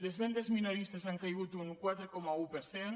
les vendes minoristes han caigut un quaranta un per cent